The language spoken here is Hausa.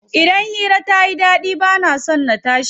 Idan hira tayi ɗaɗi bana son na tashi.